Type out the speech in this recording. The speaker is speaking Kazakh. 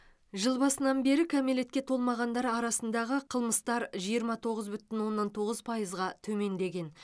жыл басынан бері кәмелетке толмағандар арасындағы қылмыстар жиырма тоғыз бүтін оннан тоғыз пайызға төмендеген